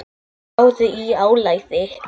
Spáðu í álagið.